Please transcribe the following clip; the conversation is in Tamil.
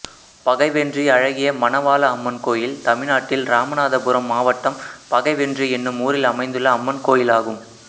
பகைவென்றி அழகிய மணவாள அம்மன் கோயில் தமிழ்நாட்டில் இராமநாதபுரம் மாவட்டம் பகைவென்றி என்னும் ஊரில் அமைந்துள்ள அம்மன் கோயிலாகும்